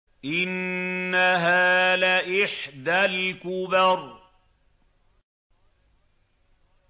إِنَّهَا لَإِحْدَى الْكُبَرِ